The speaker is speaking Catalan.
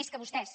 més que vostès